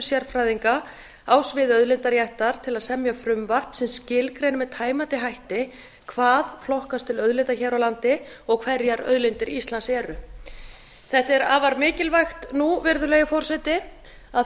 sérfræðinga á sviði auðlindaréttar til að semja frumvarp sem skilgreini með tæmandi hætti hvað flokkast til auðlinda hér á landi og hverjar auðlindir íslands eru þetta er afar mikilvægt nú virðulegi forseti að